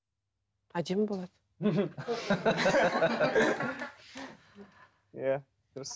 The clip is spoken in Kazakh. әдемі болады иә дұрыс